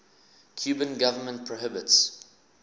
cuban government prohibits